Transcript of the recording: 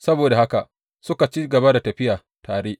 Saboda haka suka ci gaba da tafiya tare.